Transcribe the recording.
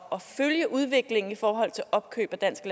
at følge udviklingen i forhold til opkøb af dansk